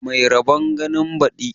Mai rabon ganin badi